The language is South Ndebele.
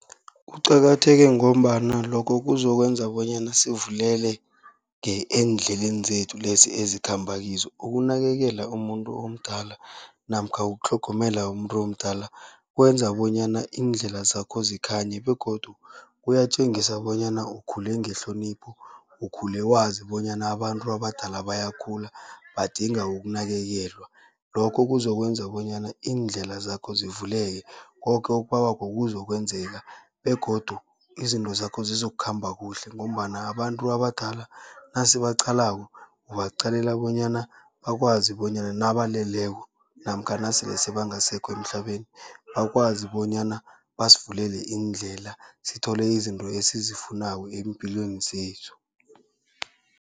Kuqakatheke ngombana lokho kuzokwenza bonyana sivuleleke eendleleni zethu lezi ezikhamba kizo. Ukunakekela umuntu omdala namkha ukutlhogomela umuntu omdala, kwenza bonyana iindlela zakho zikhanye begodu kuyatjengisa bonyana ukhule ngehlonipho, ukhule wazi bonyana abantu abadala bayakhula badinga ukunakekelwa. Lokho kuzokwenza bonyana iindlela zakho zivuleke, koke okubawako kuzokwenzeka begodu izinto zakho zizokukhamba kuhle. Ngombana abantu abadala nasibaaqalako ubaqalela bonyana bakwazi bonyana nabaleleko namkha nasele sebangasekho emhlabeni, bakwazi bonyana basivulele iindlela sithole izinto esizifunako eempilweni zethu.